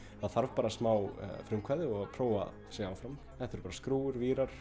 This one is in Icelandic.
það þarf bara smá frumkvæði og prófa sig áfram þetta eru bara skrúfur vírar